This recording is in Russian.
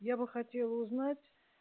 я бы хотела узнать